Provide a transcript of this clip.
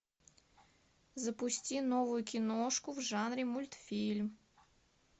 запусти новую киношку в жанре мультфильм